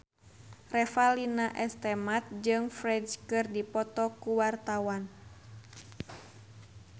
Revalina S. Temat jeung Ferdge keur dipoto ku wartawan